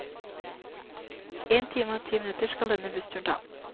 En time og ti minutter skal denne bussturen ta.